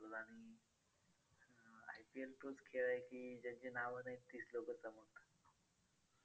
तोच खेळ आहे की ज्यांची नावं नाहीत तीच लोकं जमवतात.